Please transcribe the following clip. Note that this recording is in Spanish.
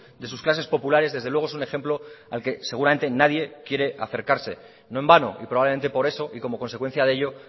de sus clases populares desde luego es un ejemplo al que seguramente nadie quiere acercarse no en vano y probablemente por eso y como consecuencia de ello